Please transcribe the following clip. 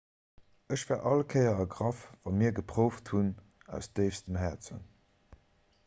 ech war all kéier ergraff wa mir geprouft hunn aus déifstem häerzen